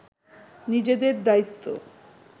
নিজেদের দায়িত্ব